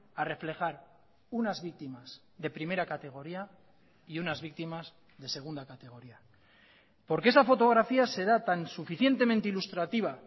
a reflejar unas víctimas de primera categoría y unas víctimas de segunda categoría porque esa fotografía se da tan suficientemente ilustrativa